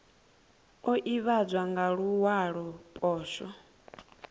o ivhadzwa nga luwalo poswo